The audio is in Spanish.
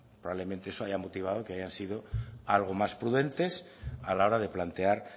probablemente eso haya motivado que hayan sido algo más prudentes a la hora de plantear